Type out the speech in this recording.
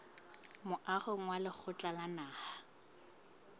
moahong wa lekgotla la naha